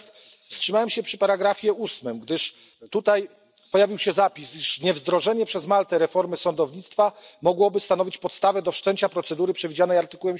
Natomiast wstrzymałem się przy ustępie 8, gdyż tutaj pojawił się zapis, że niewdrożenie przez Maltę reformy sądownictwa mogłoby stanowić podstawę do wszczęcia procedury przewidzianej w art.